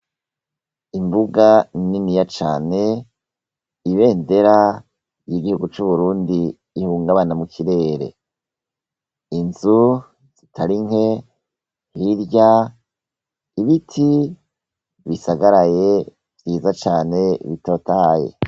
Imbuga niniya cane, ibendera ry’Igihugu c'Uburundi rihungabana mukirere, inzu zitarinke, hirya ibiti bisagaraye vyiza cane bitotahaye.